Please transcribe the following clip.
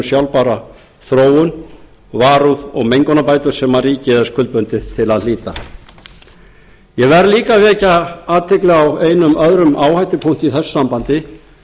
sjálfbæra þróun varúð og mengunarbætur sem ríkið er skuldbundið til að hlíta ég verð líka að vekja athygli á einum öðrum áhættupunkti í þessu sambandi